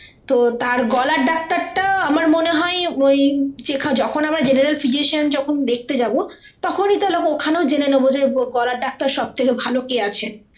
তো তার গলার ডাক্তারটা আমার মনে হয় ওই যখন আমরা general physician দেখতে যাবো তখনই তাহলে ওখানেই জেনে নেবো যে গলার ডাক্তার সব থেকে ভালো কে আছেন